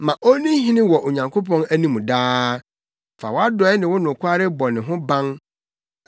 Ma onni hene wɔ Onyankopɔn anim daa fa wʼadɔe ne wo nokware bɔ ne ho ban.